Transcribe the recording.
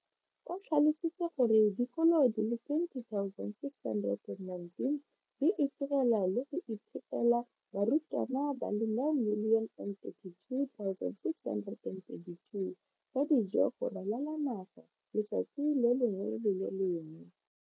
O tlhalositse gore dikolo di le 20 619 di itirela le go iphepela barutwana ba le 9 032 622 ka dijo go ralala naga letsatsi le lengwe le le lengwe.